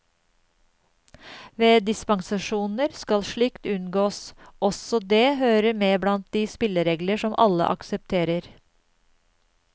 Ved dispensasjoner skal slikt unngås, også det hører med blant de spilleregler som alle aksepterer.